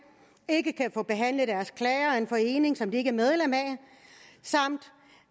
ikke kan få behandlet deres klager af en forening som de ikke er medlem af samt